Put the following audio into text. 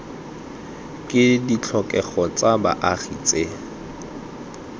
ke ditlhokego tsa baagi tse